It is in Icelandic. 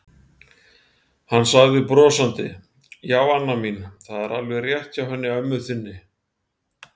Hann sagði brosandi: Já, Anna mín, það er alveg rétt hjá henni ömmu þinni.